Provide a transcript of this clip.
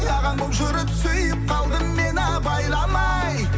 ағаң болып жүріп сүйіп қалдым мен абайламай